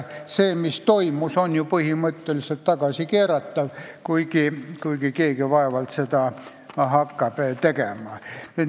See, mis toimus, on ju põhimõtteliselt tagasikeeratav, kuigi vaevalt et keegi hakkab seda tegema.